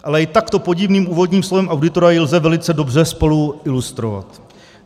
Ale i takto podivným úvodním slovem auditora ji lze velice dobře spolu ilustrovat.